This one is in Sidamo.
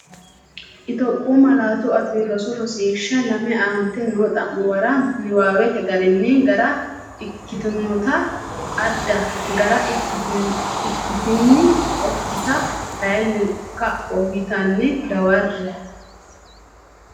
Itophiyu Malaatu Afii Roso Rosiishsha Lame Aante noo xa’muwa niwaawete garinni gara ikkitinota adda gara ikkitin- okkita kayinni kapho yitinanni dawarre.